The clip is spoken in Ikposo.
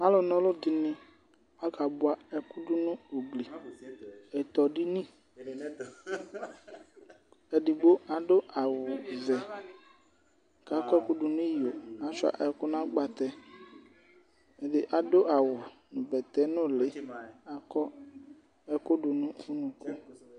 Alu na ɔ̃lù dini akabua ɛku du nu ugli ɛtɔ̃ dini, edigbo adu awù vɛ, k'akɔ ɛku du n'iyo k'ashua ɛku nu agbatɛ, ɛdi adu awù nu bɛtɛ̃ núlí k'akɔ ɛku du n'unuku